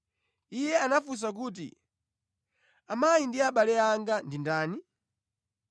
Iye anafunsa kuti, “Amayi ndi abale anga ndi ndani?”